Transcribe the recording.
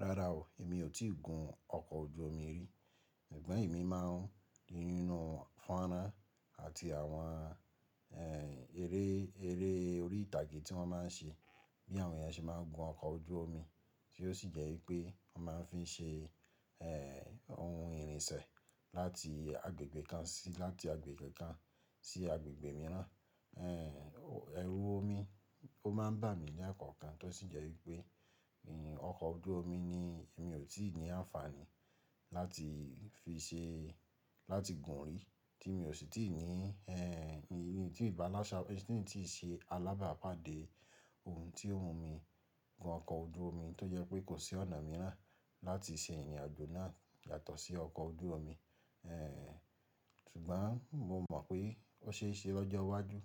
Rárá o, èmi ò tí ì gun ọkọ̀ ojú omi rí. Ṣùgbọ́n ẹ̀mi máa ń rí nínú fọ́nran àti àwọn, eré, eré orí ìtàgé tí wọ́n máa ń ṣe, bí àwọn yẹn ṣe máa ń gun ọkọ̀ ojú omi, tí ó sì jẹ́ wípé wọ́n máa ń fi ṣe, ohun ìrìnsẹ̀ láti agbègbè kan sí, láti agbègbè kan sí agbègbè mìíràn. Ẹ̀rù omi ó máa ń bà mí lẹ́ẹ̀kọ̀ọ̀kan kan tó sì jẹ́ wípé, ọkọ̀ ojú omi ni èmi ò tí ì ní àǹfààní láti fi ṣe, láti gun rí, tí mi ò sì tí ì ní, èyí ni tí i balasa ti n tii ṣe alábàápàdé ohun tí ó mù mí gun ọkọ̀ ojú omi tó jẹ́ pé kò sí ọ̀nà mìíràn láti ṣe ìrìn àjò náà yàtọ̀ sí ọkọ̀ ojú omi. Ṣùgbọ́n mo mọ̀ pé ó ṣe é ṣe lọ́jọ́ iwájú